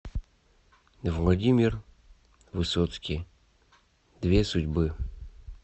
владимир высоцкий две судьбы